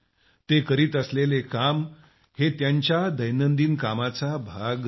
ते करीत असलेले काम हे त्यांच्या दैनंदिन कामाचा भाग नाही